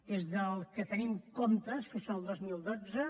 des que tenim comptes que això el dos mil dotze